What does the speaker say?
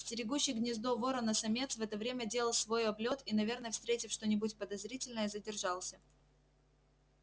стерегущий гнездо ворона-самец в это время делал свой облёт и наверное встретив что-нибудь подозрительное задержался